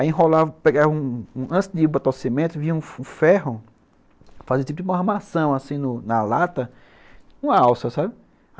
Aí enrolava, pegava um... antes de botar o cimento, vinha um ferro, fazia tipo uma armação assim na lata, uma alça, sabe?